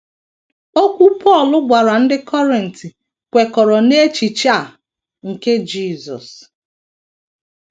Okwu Pọl gwara ndị Kọrint kwekọrọ n’echiche a nke Jisọs.